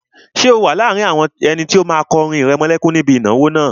Ṣé o wà láàrin àwọn ẹni tó máa kọ orin ìrẹmọlẹ́kún níbi ìnáwó náà?